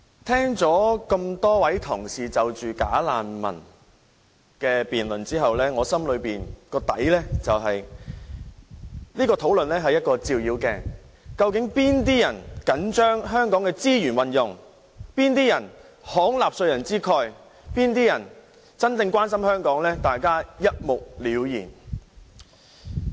聽過多位同事有關"假難民"的辯論後，我心中想，這項討論是一面照妖鏡，究竟哪些人緊張香港的資源運用，哪些人慷納稅人之慨，哪些人真正關心香港，大家一目了然。